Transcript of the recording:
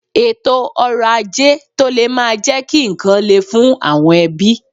Ètò ọrọ̀ ajé tó le máa jẹ́ kí ǹkan le fún àwọn ẹbí.